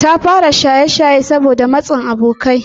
Ta fara shaye-shaye saboda matsin abokai.